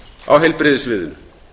á heilbrigðissviðinu